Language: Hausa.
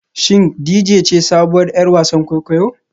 Shin Dejay ce sabuwar 'yar wasan kwaikwayo?